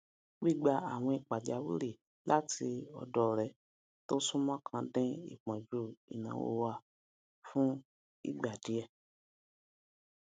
gbigba àwìn pàjáwìrì láti ọdọ ọrẹ tó súnmọ kan dín ìpọnjú ináwó wa fún ìgbà díẹ